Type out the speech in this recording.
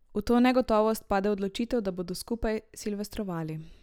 V to negotovost pade odločitev, da bodo skupaj silvestrovali.